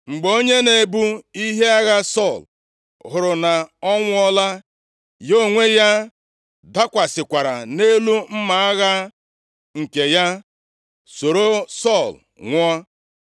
Mgbe onye na-ebu ihe agha Sọl hụrụ na ọ nwụọla, ya onwe ya dakwasịkwara nʼelu mma agha nke ya, soro Sọl nwụọ.